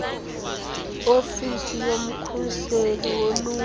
ofisi yomkhuseli woluntu